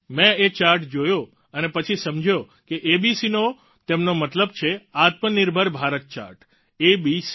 મેં એ ચાર્ટ જોયો અને પછી સમજ્યો કે એબીસી નો તેમનો મતલબ છે આત્મનિર્ભર ભારત ચાર્ટ એબીસી